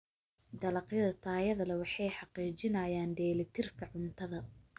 Dalagyada tayada leh waxay xaqiijinayaan dheelitirka cuntada.